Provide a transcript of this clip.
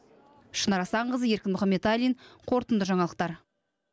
шынар асанқызы еркін мұхаметалин қорытынды жаңалықтар